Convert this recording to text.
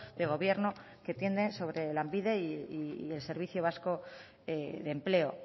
de gobierno que tienen sobre lanbide y el servicio vasco de empleo